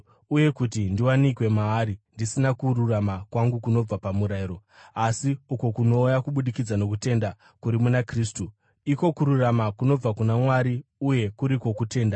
Uye kuti ndiwanikwe maari, ndisina kururama kwangu kunobva pamurayiro, asi uko kunouya kubudikidza nokutenda kuri muna Kristu, iko kururama kunobva kuna Mwari uye kuri kwokutenda.